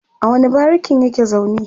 a wani barikin yake zaune?